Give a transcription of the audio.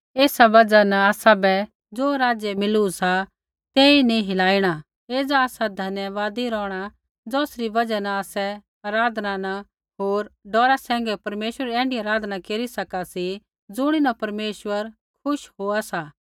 एसा बजहा न आसाबै ज़ो राज्य मिलू सा तेई नैंई हिलाइणा एज़ा आसा धन्यवादी रौहणा ज़ौसरी बजहा न आसै आराधना न होर डौरा सैंघै परमेश्वरै री ऐण्ढी अराधना केरी सका सी ज़ुणीन परमेश्वर खुश होआ सा